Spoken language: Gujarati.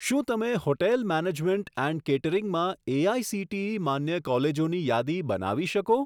શું તમે હોટેલ મેનેજમેન્ટ એન્ડ કેટરિંગમાં એઆઇસીટીઈ માન્ય કોલેજોની યાદી બનાવી શકો?